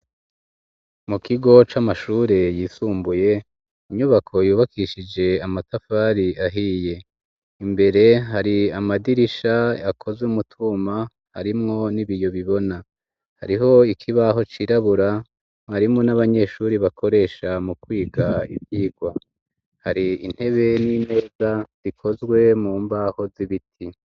Mu kigo c'amashure yisumbuye, inyubako yubakishije amatafari ahiye, imbere hari amadirisha akozwe mutwuma harimwo n'ibiyo bibona, hariho ikibaho cirabura marimu n'abanyeshuri bakoresha mu kwiga ibyigwa, hari intebe n'ineza zikozwe mu mbaho z'ibiti.